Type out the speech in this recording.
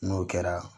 N'o kɛra